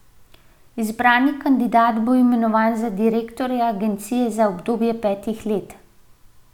Izbrani kandidat bo imenovan za direktorja agencije za obdobje petih let.